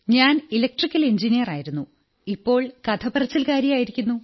ഞാൻ ഇലക്ട്രിക്കൽ എഞ്ചിനീയറായിരുന്നു ഇപ്പോൾ കഥ പറച്ചിലുകാരിയായിരിക്കുന്നു